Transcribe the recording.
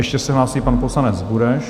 Ještě se hlásí pan poslanec Bureš.